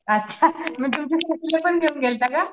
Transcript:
अच्छा घेऊन गेलता का?